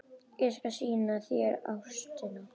Ég skal sýna þér Ástina.